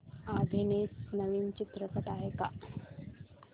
अभिनीत नवीन चित्रपट आहे का